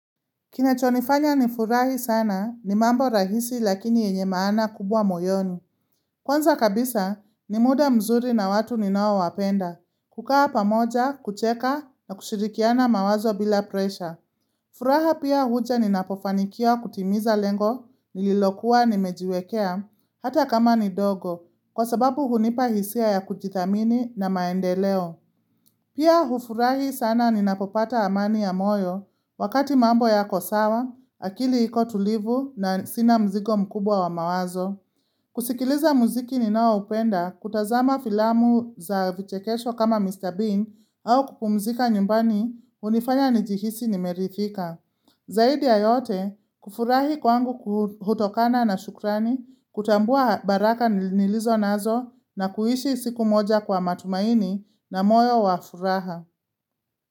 Kinachonifanya ni furahi sana ni mambo rahisi lakini yenye maana kubwa moyoni. Kwanza kabisa ni muda mzuri na watu ninoawapenda, kukaa pamoja, kucheka na kushirikiana mawazo bila presha. Furaha pia huja ninapofanikiwa kutimiza lengo, nililokuwa nimejiwekea, hata kama ni dogo, kwa sababu hunipa hisia ya kujithamini na maendeleo. Pia hufurahi sana ninapopata amani ya moyo wakati mambo yako sawa, akili iko tulivu na sina mzigo mkubwa wa mawazo. Kusikiliza muziki ninaoupenda kutazama filamu za vichekesho kama Mr. Bean au kupumzika nyumbani unifanya njihisi nimerithika. Zaidi ya yote, kufurahi kwangu hutokana na shukrani, kutambua baraka nilizo nazo na kuhishi siku moja kwa matumaini na moyo wa furaha.